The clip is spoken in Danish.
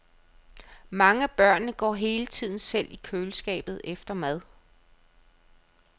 Mange af børnene går hele tiden selv i køleskabet efter mad.